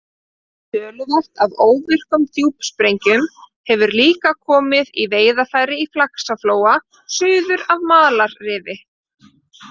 Töluvert af óvirkum djúpsprengjum hefur líka komið í veiðarfæri í Faxaflóa suður af Malarrifi.